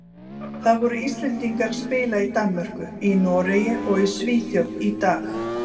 Það voru Íslendingar að spila í Danmörku, í Noregi og í Svíþjóð í dag.